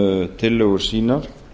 um tillögur sínar